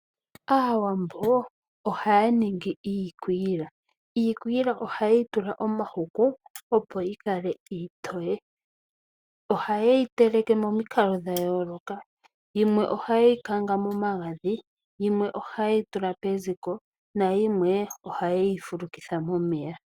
Aawambo oha ya ningi iikwiila , iikwiila ohaye tula omahuku opo yikale iitoye. Ohaye yiteleke momikalo dhayoloka yimwe ohaye yikanga momagadhi, yimwe ohaye yitula peziko nayimwe ohaye yifulukitha momeya.